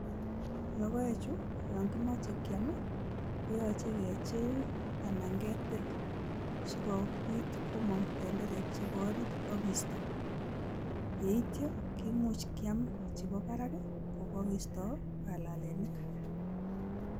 Logoechu yon kimoche kiam ii, koyoche kechill anan ketil, si kobit komong tenderek chebo orit ak kiisto. Ye ityo kimuch kyam chebo barak ii, kogokiisto balalenik.